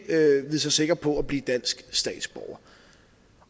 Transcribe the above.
vide sig sikker på at blive dansk statsborger